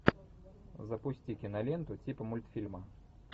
запусти киноленту типа мультфильма